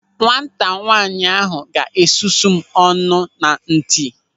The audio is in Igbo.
Nwata nwaanyị ahụ ga-esusu m ọnụ na nti.